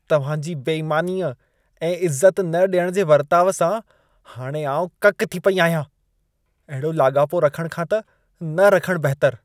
तव्हां जी बेईमानीअ ऐं इज़त न ॾियण जे वर्ताउ सां, हाणे आउं ककि थी पेई आहियां। अहिड़ो लाॻापो रखण खां त, न रखणु बहितरु।